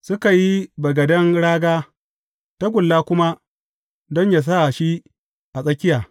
Suka yi wa bagaden raga, tagulla kuma don yă sa shi a tsakiya.